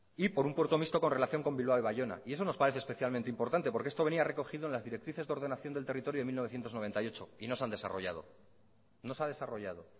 y por un puerto mixto con relación con bilbao y baiona y eso nos parece especialmente importante porque esto venía recogido en las directrices de ordenación del territorio de mil novecientos noventa y ocho y no se han desarrollado no se ha desarrollado